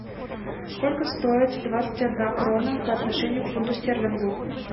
сколько стоит двадцать одна крона по отношению к фунту стерлингу